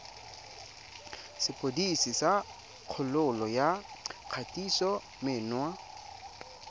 sepodisi sa kgololo ya kgatisomenwa